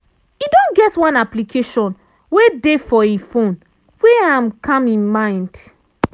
e don get one application wey dey for e phone wey am calm e mind.